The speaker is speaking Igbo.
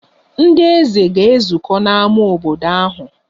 Ndị eze ga-ezukọ n'ámá obodo ahụ.